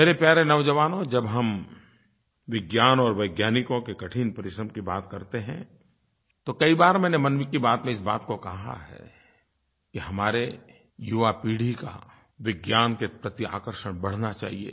मेरे प्यारे नौजवानो जब हम विज्ञान और वैज्ञानिकों के कठिन परिश्रम की बात करते हैं तो कई बार मैंने मन की बात में इस बात को कहा है कि हमारी युवापीढ़ी का विज्ञान के प्रति आकर्षण बढ़ना चाहिए